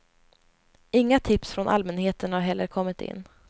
Inga tips från allmänheten har heller kommit in.